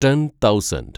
ten thousand